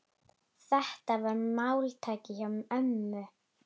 Þetta var máltæki hjá ömmu.